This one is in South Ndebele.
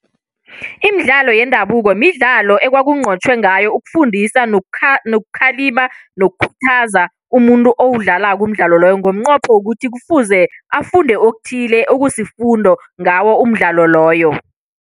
Imidlalo yendabuko midlalo ekwakunqotjhwe ngayo ukufundisa, nokukhalima nokukhuthaza umuntu owudlalako umdlalo loyo. Ngomnqopho wokuthi kufuze afunde okuthile okusifundo ngawo umdlalo loyo.